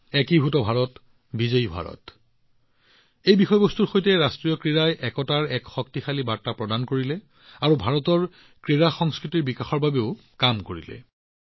জুড়েগা India তো জিতেগা India বিষয়বস্তুৰ সৈতে এফালে ৰাষ্ট্ৰীয় খেলখনে একতাৰ এক শক্তিশালী বাৰ্তা প্ৰদান কৰিছে আনহাতে ভাৰতৰ ক্ৰীড়া সংস্কৃতিৰ প্ৰচাৰ কৰিছে